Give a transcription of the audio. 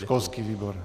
Školský výbor.